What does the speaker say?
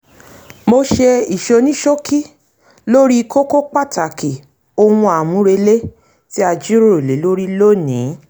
mo ṣe ìsonísókí lórí kókó pàtàkì ohun àmúrelé tí a jíròrò lé lórí lónìí